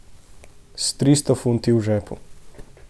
S tristo funti v žepu.